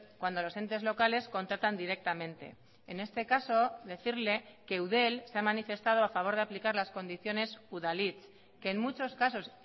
cuando los entes locales contratan directamente en este caso decirle que eudel se ha manifestado a favor de aplicar las condiciones udalhitz que en muchos casos